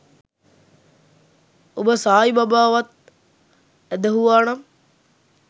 ඔබ සායි බබා වත් ඇදහූවා නම්